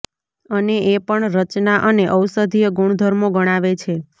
અને એ પણ રચના અને ઔષધીય ગુણધર્મો ગણાવે છે